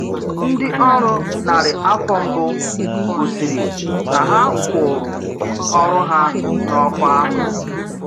Ndị orù narị afọ mbụ gosiri na ha kwụụrụ ọrụ ha n’ọkwá.